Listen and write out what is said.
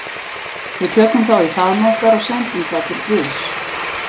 Við tökum þá í faðm okkar og sendum þá til guðs.